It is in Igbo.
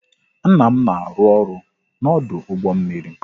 Nna m na arụ-ọrụ n'ọdụ ụgbọ mmiri